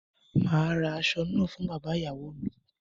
Màá ra aṣọ náà fún bàbá ìyàwó mi.